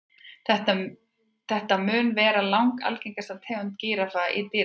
Þetta mun vera langalgengasta tegund gíraffa í dýragörðum.